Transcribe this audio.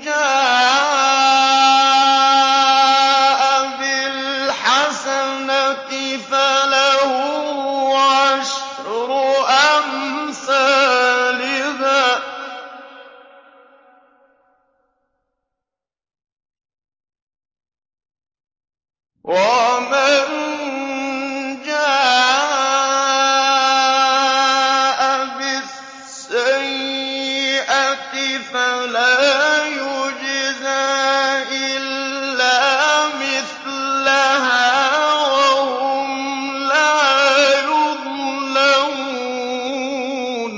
جَاءَ بِالْحَسَنَةِ فَلَهُ عَشْرُ أَمْثَالِهَا ۖ وَمَن جَاءَ بِالسَّيِّئَةِ فَلَا يُجْزَىٰ إِلَّا مِثْلَهَا وَهُمْ لَا يُظْلَمُونَ